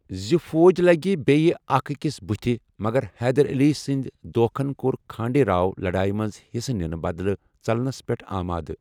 زِ فوج لٕگہِ بییہ اكھ اكِس بٗتھہِ مگر حیدر علی سٕندِ دھوکھن کوٚر کھانڈے راؤ لڑایہِ منٛز حِصہٕ نِنہٕ بدلہٕ ژلنَس پیٹھ آمادٕ ۔